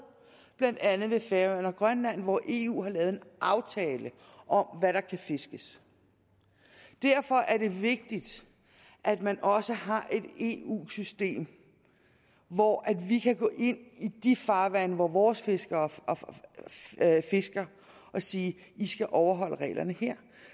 blandt andet ved færøerne og grønland og hvor eu har lavet en aftale om hvad der kan fiskes derfor er det vigtigt at man også har et eu system hvor vi kan gå ind i de farvande hvor vores fiskere fisker og sige i skal overholde reglerne her